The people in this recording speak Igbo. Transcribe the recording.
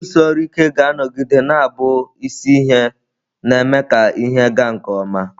Ịrụsi ọrụ ike ga-anọgide na-abụ isi ihe na-eme ka ihe ịga nke ọma.